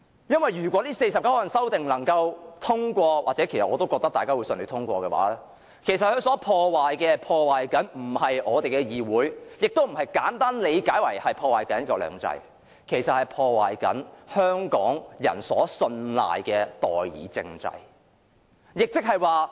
因為如果這49項修訂獲得通過——其實我也覺得修訂會順利通過——它所破壞的不是我們的議會，亦不是如大家簡單地理解般，會破壞"一國兩制"，其實它所破壞的，是香港人信賴的代議政制。